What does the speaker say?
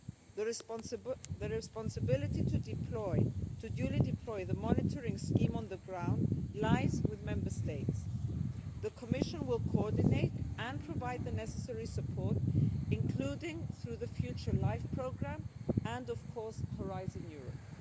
The responsibility to duly deploy the monitoring scheme on the ground lies with Member States. The Commission will coordinate and provide the necessary support, including through the future Life programme and, of course, Horizon Europe.